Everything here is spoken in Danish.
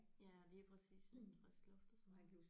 Ja lige præcis lidt frisk luft og sådan noget